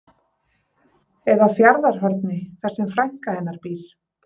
Eða Fjarðarhorni þar sem frænka hennar býr.